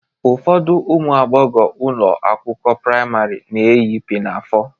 Ụfọdụ ụmụ agbọghọ ụlọ akwụkwọ praịmarị na-eyi pinafore